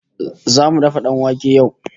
Zamu dafa danwake yau